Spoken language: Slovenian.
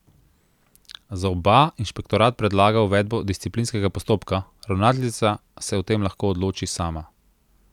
Za oba inšpektorat predlaga uvedbo disciplinskega postopka, ravnateljica se o tem lahko odloči sama.